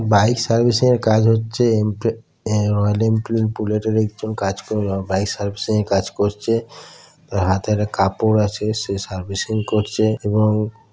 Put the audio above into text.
Bike servicing এর কাজ হচ্ছে এন্ড পরে রয়েল এনফিল্ড বুলেট এর একজন কাজ বাইক সার্ভিসিং এর কাজ করছে তার হাতের কাপড় আছে সেই সার্ভিসিং করছে। এবং--